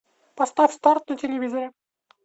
поставь старт на телевизоре